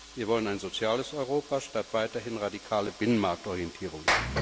Wir wollen ein soziales Europa statt weiterhin radikaler Binnenmarktorientierung.